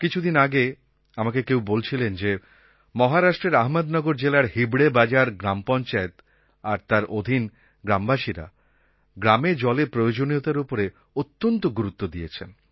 কিছুদিন আগে আমাকে কেউ বলছিলেন যে মহারাষ্ট্রের আহ্মদনগর জেলার হিবড়ে বাজার গ্রাম পঞ্চায়েত আর তার অধীন গ্রামবাসীরা গ্রামে জলের প্রয়োজনীয়তার ওপরে অত্যন্ত গুরুত্ব দিয়েছেন